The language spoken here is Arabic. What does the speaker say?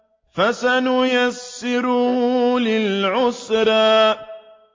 فَسَنُيَسِّرُهُ لِلْعُسْرَىٰ